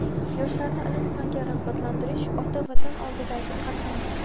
Yoshlarni ilm-fanga rag‘batlantirish ota Vatan oldidagi qarzimiz.